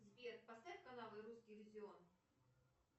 сбер поставь канал русский иллюзион